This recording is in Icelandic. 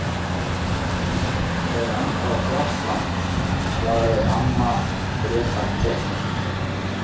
Þetta er ennþá frjálst land, svaraði amma Gréta keik.